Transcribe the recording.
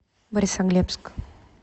борисоглебск